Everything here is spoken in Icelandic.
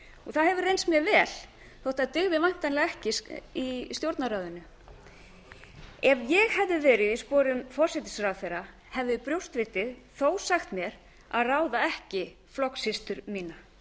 það hefur reynst mér vel þótt það dygði væntanlega ekki í stjórnarráðinu ef ég hefði verið í sporum forsætisráðherra hefði brjóstvitið þó sagt mér að ráða ekki flokkssystur mína